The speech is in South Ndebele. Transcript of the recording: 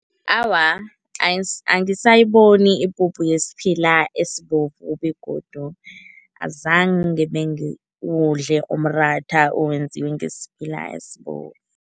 Awa, angisayiboni ipuphu yesiphila esibovu begodu azange bengiwudle umratha owenziwe ngesiphila esibovu.